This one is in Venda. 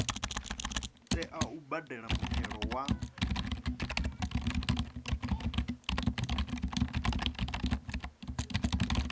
tea u badela muthelo wa